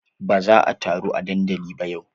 Ba za a taru a dandali ba yau.